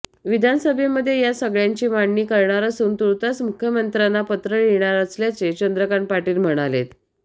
विधानसभेमध्ये या सगळ्याची मांडणी करणार असून तूर्तास मुख्यमंत्र्यांना पत्र लिहिणार असल्याचे चंद्रकांत पाटील म्हणालेत